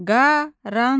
Qaranlıq.